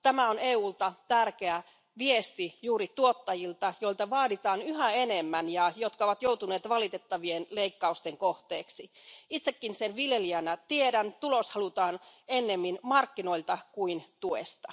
Tämä on EUlta tärkeä viesti juuri tuottajille, joilta vaaditaan yhä enemmän ja jotka ovat joutuneet valitettavien leikkausten kohteeksi. Itsekin sen viljelijänä tiedän, että tulos halutaan ennemmin markkinoilta kuin tuesta.